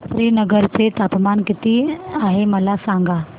श्रीनगर चे तापमान किती आहे मला सांगा